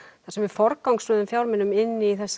þar sem við forgangsröðum fjármunum inn í þessa